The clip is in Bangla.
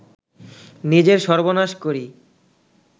নিজের সর্বনাশ করি